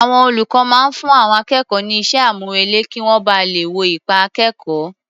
Àwọn olùkọ́ máa ń fún akẹ́kọ̀ọ́ ní iṣẹ́-àmúrelé kí wọ́n ba lè wo ipa akẹ́kọ̀ọ́.